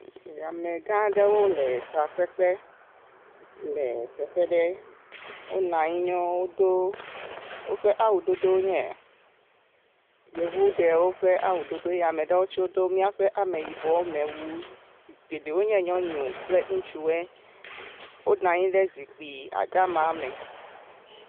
Hamegã aɖewo le fafɛ ƒe le teƒe ɖe, wonɔ anyi ya wodo woƒe awu dodo nye yevu ɖewo ƒe awu dodo eye ame ɖewo tse wodo miaƒe ameyibɔ me wu, geɖewo nye nyɔnu kple ŋutsuwe, wonɔ anyi ɖe zikpui dama me.